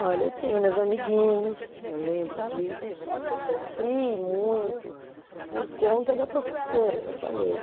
Olha, eu tinha meus amiguinhos, eu lembro disso, só que eu sofri muito por conta da professora, eu já falei.